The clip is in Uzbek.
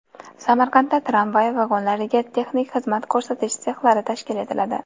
Samarqandda tramvay vagonlariga texnik xizmat ko‘rsatish sexlari tashkil etiladi.